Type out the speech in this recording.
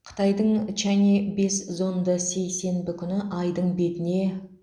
қытайдың чанъэ бес зонды сейсенбі күні айдың бетіне